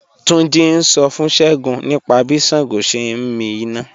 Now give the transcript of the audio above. Túnjí́ ń ṣọ́ fún Ṣẹ́gúǹ nípa bí Ṣàngó sẹ̀ ǹ mí iná